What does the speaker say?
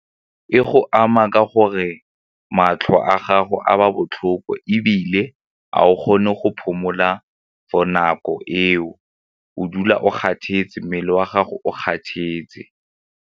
E go ama ka gore matlho a gago a ba botlhoko ebile a o kgone go phomola for nako eo o dula o kgathetse mmele wa gago o kgathetse.